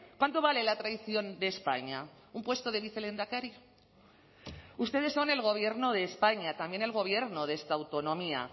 cuánto vale la traición de españa un puesto de vicelehendakari ustedes son el gobierno de españa también el gobierno de esta autonomía